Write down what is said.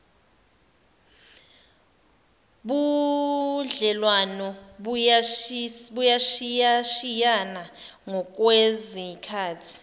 budlelwano buyashiyashiyana ngokwesikhathi